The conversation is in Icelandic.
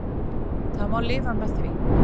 Það má lifa með því.